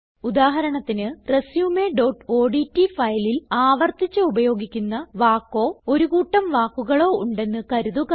ഉദാഹരണത്തിന് resumeഓഡ്റ്റ് ഫയലിൽ ആവർത്തിച്ച് ഉപയോഗിക്കുന്ന വാക്കോ ഒരു കൂട്ടം വാക്കുകളോ ഉണ്ടെന്ന് കരുതുക